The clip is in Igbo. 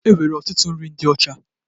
E nwere ọtụtụ nri ndị ocha